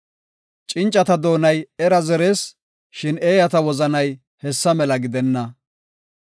Cincata doonay era zerees; shin eeyata wozanay hessa mela gidenna.